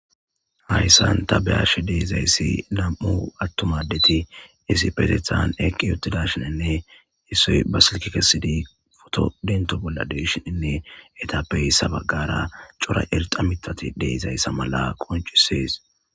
Hayssan ta beyashe deezayssi lam'u attumadeti isi petethan eqqi yotidashininne issoy ba silki kesidi foto dinto bolla deshininne etappey ssabagara cora erxa mitati deezayssa mala qoncisees.